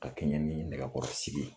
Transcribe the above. Ka kɛɲɛ ni nɛgɛkɔrɔ sigi ye.